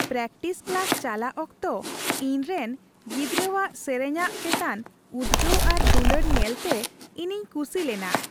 Practice class ᱪᱟᱞᱟᱜ ᱚᱠᱛᱚ ᱤᱧᱨᱮᱱ ᱜᱤᱫᱽᱨᱟᱹᱣᱟᱜ ᱥᱮᱨᱮᱟᱧ ᱪᱮᱛᱟᱱ ᱩᱫᱽᱜᱟᱹᱣ ᱟᱨ ᱫᱩᱞᱟᱹᱲ ᱧᱮᱞᱛᱮ ᱤᱧᱤᱧ ᱠᱩᱥᱤ ᱞᱮᱱᱟ ᱾